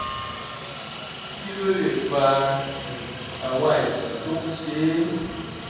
kí ló lè fa um àwọn àìsàn tó ń ṣe é?